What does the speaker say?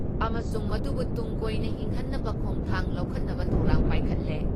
ꯑꯃꯁꯨꯡ ꯃꯗꯨꯕꯨ ꯇꯨꯡ ꯀꯣꯏꯅ ꯍꯤꯡꯍꯟꯅꯕ ꯈꯣꯡꯊꯥꯡ ꯂꯧꯈꯠꯅꯕ ꯊꯧꯔꯥꯡ ꯄꯥꯏꯈꯠꯂꯦ ꯫